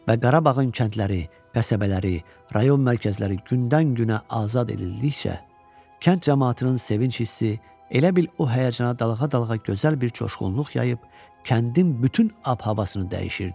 Və Qarabağın kəndləri, qəsəbələri, rayon mərkəzləri gündən-günə azad edildikcə, kənd camaatının sevinc hissi elə bil o həyəcana dalğa-dalğa gözəl bir coşqunluq yayıb, kəndin bütün ab-havasını dəyişirdi.